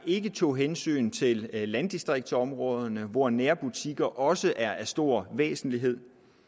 ikke tog hensyn til landdistriktsområderne hvor nærbutikker også er af stor væsentlighed